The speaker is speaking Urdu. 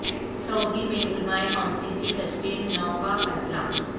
سعودی میں علماء کونسل کی تشکیل نو کا فیصلہ